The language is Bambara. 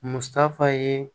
Musaka ye